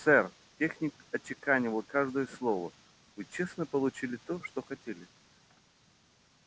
сэр техник отчеканивал каждое слово вы честно получили то что хотели